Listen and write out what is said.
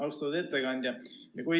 Austatud ettekandja!